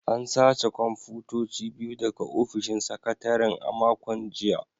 An sace kwamfutoci biyu daga ofishin sakataren a makon jiya